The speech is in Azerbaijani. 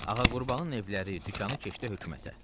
Ağa Qurbanın evləri, dükanı keçdi hökumətə.